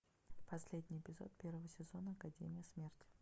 последний эпизод первого сезона академия смерти